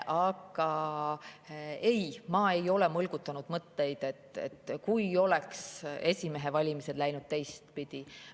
Aga ei, ma ei ole mõlgutanud mõtteid selle üle, mis oleks, kui esimehe valimised oleks läinud teistpidi.